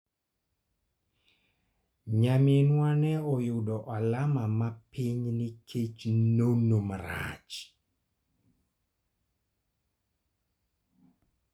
Nyaminwa ne oyudo alama ma piny nikech nono marach.